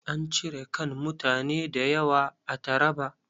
An cire kan mutane da yawa a Traba.